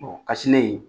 kasilen